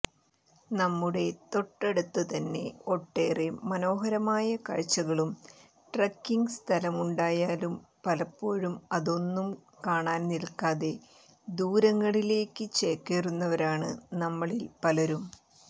നമ്മുടെ തൊട്ടടുത്തുതന്നെ ഒട്ടേറെ മനോഹരമായ കാഴ്ചകളും ട്രക്കിംഗ് സ്ഥലങ്ങളുമുണ്ടായാലും പലപ്പോഴും അതൊന്നും കാണാൻ നിൽക്കാതെ ദൂരങ്ങളിലേക്ക് ചേക്കേറുന്നവരാണ് നമ്മളിൽ പലരും